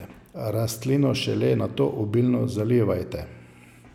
Rastlino šele nato obilno zalivajte.